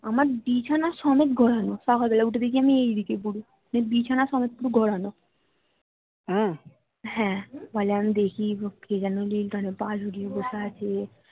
আমার বিছানা সমেত গড়ানো সকাল বেলায় উঠে দেখি আমি এইদিকে পরে বিছানা সমেত পুরো গড়ানো হ্যা বলে আমি দেখি কে যেন lington এ পা ঝুলিয়ে বসে আছে